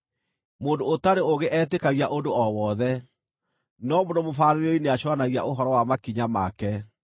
Mũndũ ũtarĩ ũũgĩ etĩkagia ũndũ o wothe, no mũndũ mũbaarĩrĩri nĩacũũranagia ũhoro wa makinya make.